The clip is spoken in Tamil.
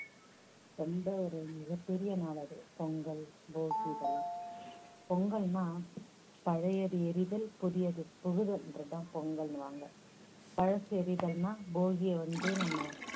ரொம்ப ஒரு மிகப் பெரிய நாள் அது. பொங்கல், போகி இதெல்லாம். பொங்கல்னா பழையது எரிதல், புதியது புகுதல்ன்றது தான் பொங்கல்னுவாங்க பழசு எரிதல்னா போகிய வந்து நம்ம